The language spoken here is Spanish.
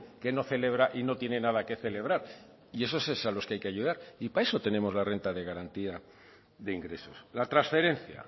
que no celebra y no tiene nada que celebrar y a esos es a los que hay que ayudar y para eso tenemos la renta de garantía de ingresos la transferencia